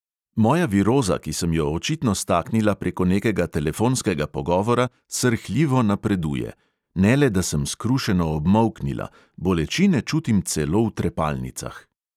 Moja viroza, ki sem jo očitno staknila preko nekega telefonskega pogovora, srhljivo napreduje; ne le, da sem skrušeno obmolknila, bolečine čutim celo v trepalnicah.